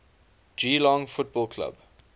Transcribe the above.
geelong football club